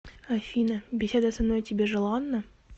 афина беседа со мной тебе желанна